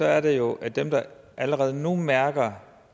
er det jo at dem der allerede nu mærker